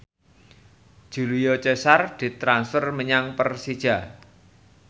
Julio Cesar ditransfer menyang Persija